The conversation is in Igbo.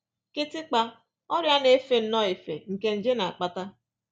Kịtịkpa: Ọrịa na-efe nnọọ efe nke nje na-akpata